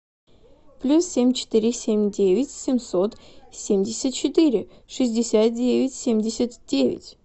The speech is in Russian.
плюс семь четыре семь девять семьсот семьдесят четыре шестьдесят девять семьдесят девять